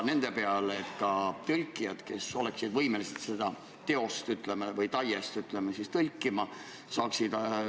Nagu ma eelnevalt vastasin, viie aasta pärast peab kõike seda täitma, sest direktiiv ei näe ette rohkem kui kaks korda edasilükkamist.